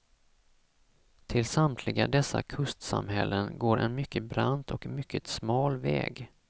Till samtliga dessa kustsamhällen går en mycket brant och mycket smal väg.